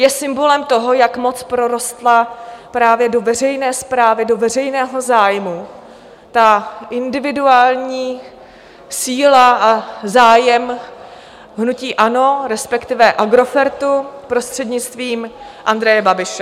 Je symbolem toho, jak moc prorostla právě do veřejné správy, do veřejného zájmu, ta individuální síla a zájem hnutí ANO, respektive Agrofertu prostřednictvím Andreje Babiše.